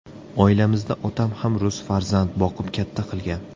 Oilamizda otam ham rus farzand boqib katta qilgan.